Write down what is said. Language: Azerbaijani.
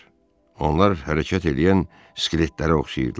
Onlar hərəkət eləyən skeletlərə oxşayırdılar.